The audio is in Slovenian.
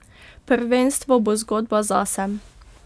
Prvenstvo bo zgodba zase.